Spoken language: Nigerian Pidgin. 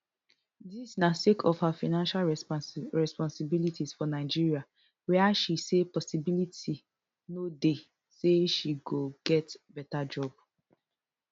dis na sake of her financial responsibilities for nigeria wia she say possibility no dey say she go get beta job